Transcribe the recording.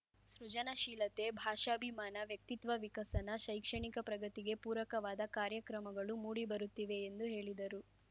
ಸೃಜನಶೀಲತೆ ಭಾಷಾಭಿಮಾನ ವ್ಯಕ್ತಿತ್ವ ವಿಕಸನ ಶೈಕ್ಷಣಿಕ ಪ್ರಗತಿಗೆ ಪೂರಕವಾದ ಕಾರ್ಯಕ್ರಮಗಳು ಮೂಡಿ ಬರುತ್ತಿವೆ ಎಂದು ಹೇಳಿದರು